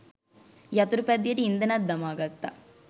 යතුරුපැදියට ඉන්ධනත් දමාගත්තා.